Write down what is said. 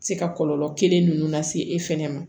Se ka kɔlɔlɔ kelen ninnu lase e fɛnɛ ma